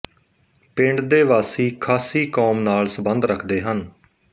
ਪਿੰਡ ਦੇ ਵਾਸੀ ਖਾਸੀ ਕੌਮ ਨਾਲ ਸਬੰਧ ਰਖਦੇ ਹਨ